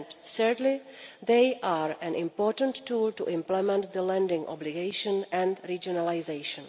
Thirdly, they are an important tool for implementing the landing obligation and regionalisation.